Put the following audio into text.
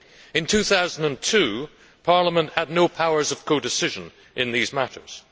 In 2002, Parliament had no powers of codecision in these matters.